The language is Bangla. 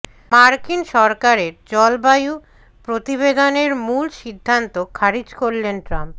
মার্কিন সরকারের জলবায়ু প্রতিবেদনের মূল সিদ্ধান্ত খারিজ করলেন ট্রাম্প